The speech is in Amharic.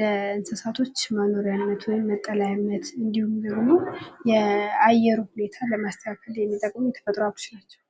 ለእንስሳቶች መኖርያነት ወይም መጠለያነት እንዲሁም ደግሞ የአየር ሁኔታን ለማስተካከል የሚጠቅሙን የተፈጥሮ ሀብቶች ናቸው።